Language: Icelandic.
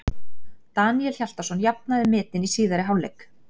Daníel Hjaltason jafnaði metin í síðari hálfleik.